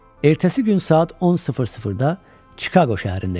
Ertəsi gün saat 10:00-da Chicago şəhərində idilər.